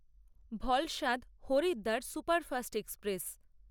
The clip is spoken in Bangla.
Valsad Haridwar superfast express